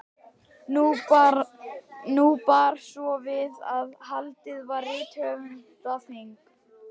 Nú bar svo við að haldið var rithöfundaþing.